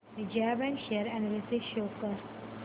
Vijaya bank share analysis show कर